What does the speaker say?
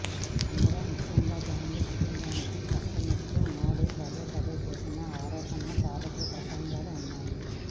అందులో ముఖ్యంగా గాంధీ కుటుంబాన్ని ప్రస్తావిస్తూ మోడీ పదేపదే చేసిన ఆరోపణల తాలూకు ప్రసంగాలు ఉన్నాయి